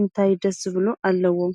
እንታይ ደስ ብሎ ኣለዎ?